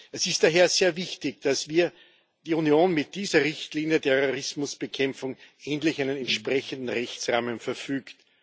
Es ist daher sehr wichtig, dass wir, die Union, mit dieser Richtlinie über Terrorismusbekämpfung endlich über einen entsprechenden Rechtsrahmen verfügt.